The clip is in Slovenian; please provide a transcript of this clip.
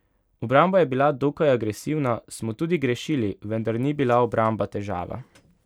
Obramba je bila dokaj agresivna, smo tudi grešili, vendar ni bila obramba težava.